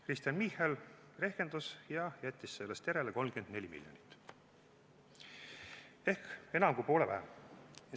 Kristen Michal rehkendas ja jättis sellest järele 34 miljonit ehk enam kui poole vähem.